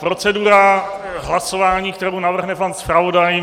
Procedura hlasování, kterou navrhne pan zpravodaj.